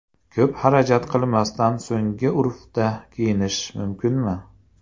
Ko‘p xarajat qilmasdan so‘nggi urfda kiyinish mumkinmi?.